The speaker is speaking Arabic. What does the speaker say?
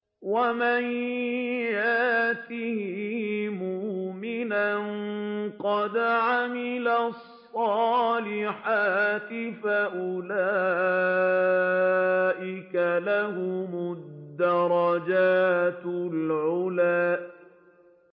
وَمَن يَأْتِهِ مُؤْمِنًا قَدْ عَمِلَ الصَّالِحَاتِ فَأُولَٰئِكَ لَهُمُ الدَّرَجَاتُ الْعُلَىٰ